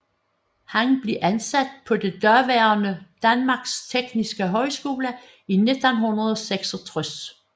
Han blev ansat på det daværende Danmarks Tekniske Højskole i 1966